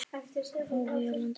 Áhugi á landinu eykst.